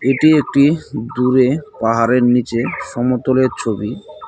এটি একটি দূরে পাহাড়ের নীচে সমতলের ছবি।